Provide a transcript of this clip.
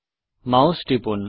mouse টিপুন